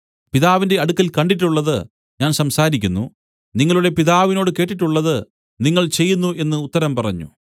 പിതാവിന്റെ അടുക്കൽ കണ്ടിട്ടുള്ളത് ഞാൻ സംസാരിക്കുന്നു നിങ്ങളുടെ പിതാവിനോട് കേട്ടിട്ടുള്ളത് നിങ്ങൾ ചെയ്യുന്നു എന്നു ഉത്തരം പറഞ്ഞു